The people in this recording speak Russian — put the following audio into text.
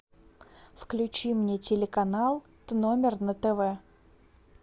включи мне телеканал т номер на тв